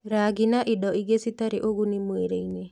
Rangi na indo ingĩ citarĩ ũguni mwĩrĩ-inĩ